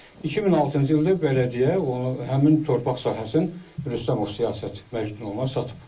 2006-cı ildə bələdiyyə həmin torpaq sahəsini Rüstəmov Siyasət Məcnununa satıb.